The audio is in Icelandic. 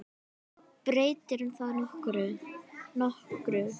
Breytir það nokkru?